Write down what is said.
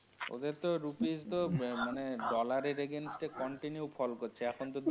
ওদের তো rupees তো মানে dollar এর against এ continue fall করছে। এখন তো.